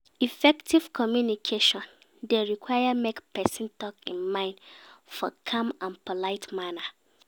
Effective communication de require make person talk in mind for calm and polite manner